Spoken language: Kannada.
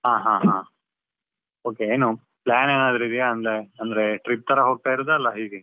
ಹಾ ಹಾ ಹಾ, okay ಏನು plan ಏನಾದ್ರು ಇದ್ದೀಯ ಅಂದ್ರೆ, trip ತರ ಹೋಗ್ತಿರೋದ ಇಲ್ಲ ಹೇಗೆ?